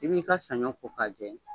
I b'i ka sanɲɔ ko k'a jɛ.